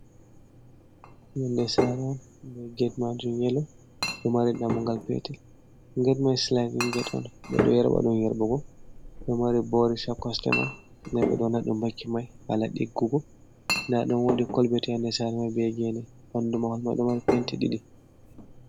Yolnde sare'on be get majum yelo, ɗo mari dammungal petel get mai silaidi get on ɓeɗo yerɓa ɗum yerbugo, ɗo mari boris, ha kosɗe man, nden ɓeɗon wannaɗum bakin mai hala ɗiggugo, ndaɗum wodi kolbet ha les sare mai bee gene, ɓandu mahol mai ɗo mari penti ɗiɗi.